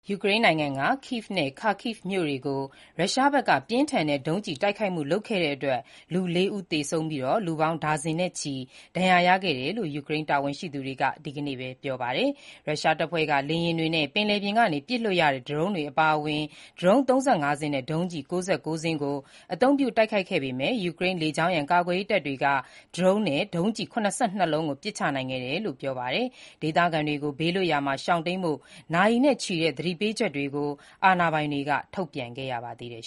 ယူကရိန်းနိုင်ငံက Kyiv နဲ့ Kharkiv မြို့တွေကို ရုရှားဘက်က ပြင်းထန်တဲ့ ဒုံးကျည်တိုက်ခိုက်မှု လုပ်ခဲ့တဲ့အတွက် လူ ၄ ဦး သေဆုံးပြီး၊ လူပေါင်း ဒါဇင်နဲ့ချီ ဒဏ်ရာရခဲ့တယ်လို့ ယူကရိန်းတာဝန်ရှိ သူတွေက ဒီနေ့ပဲပြောပါတယ်။ ရုရှားတပ်ဖွဲ့က လေယာဉ်တွေနဲ့ ပင်လယ်ပြင်ကနေ ပစ်လွှတ်ရတဲ့ ဒရုန်းတွေအပါအဝင် ဒရုန်း ၃၅ စင်းနဲ့ ဒုံးကျည် ၉၉ စင်းကို အသုံးပြုတိုက်ခိုက်ခဲ့ပေမဲ့ ယူကရိန်းလေကြောင်းရန် ကာကွယ်ရေးတပ်တွေက ဒရုန်းနဲ့ ဒုံးကျည် ၇၂ လုံးကို ပစ်ချနိုင်ခဲ့တယ်လို့ ယူကရိန်းဘက်က ပြောပါတယ်။ ဒေသခံတွေကို ဘေးလွတ်ရာမှာ ရှောင်တိန်းဖို့ နာရီနဲ့ချီတဲ့ သတိပေးချက်တွေကို အာဏာပိုင်တွေက ထုတ်ပြန်ခဲ့ပါတယ်